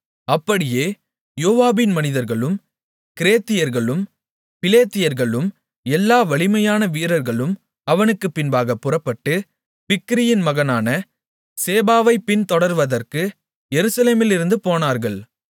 அப்படியே யோவாபின் மனிதர்களும் கிரேத்தியர்களும் பிலேத்தியர்களும் எல்லா வலிமையான வீரர்களும் அவனுக்குப்பின்பாகப் புறப்பட்டு பிக்கிரியின் மகனான சேபாவைப் பின்தொடர்வதற்கு எருசலேமிலிருந்து போனார்கள்